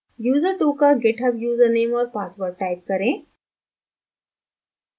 user2 का github username और password type करें